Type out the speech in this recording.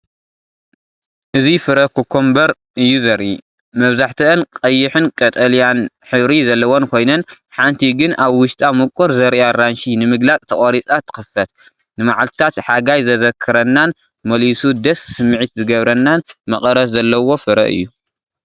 እዚ ፍረ ኮኮምበር እዩ ዘርኢ። መብዛሕትአን ቀይሕን ቀጠልያን ሕብሪ ዘለወን ኮይነን፡ ሓንቲ ግን ኣብ ውሽጣ ምቁር ዘርኢ ኣራንሺ ንምግላጽ ተቖሪጻ ትኽፈት። ንመዓልታት ሓጋይ ዘዘኻኽረናን መሊሱ ድስ ስምዒት ዝገብረናን መቐረት ዘለዎ ፍረ እዩ።